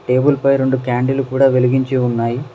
Table పై రెండు candle కూడా వెలిగించి ఉన్నాయి.